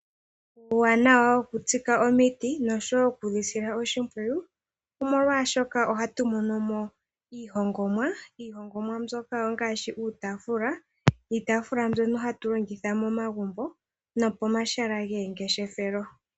Uuwanawa woku tsika omiti noshowo okudhi sila oshimpwiyu omolwashoka ohatu monomo iihongomwa Iihongomwa mbyoka ongaashi uutaafula mbyono hatu longitha momagumbo no pomahala gomangeshefelo